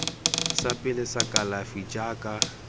sa pele sa kalafi jaaka